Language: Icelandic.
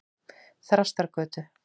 Þrastargötu